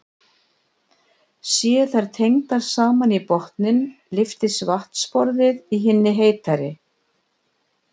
Séu þær tengdar saman í botninn lyftist vatnsborðið í hinni heitari.